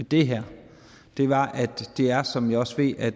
det her og som jeg også ved at